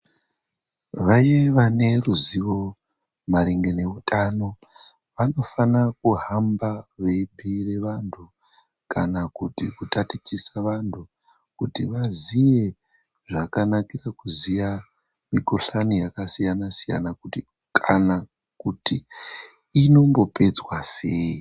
Vaye vane ruzivo maringe neutano vanofanire kuhamba vachibhuire vanthu kana kutatichise vanhu kuti vaziye zvakanakire kuziye mikhuhlani yakasiyana siyana kana kuti inombopedzwa sei.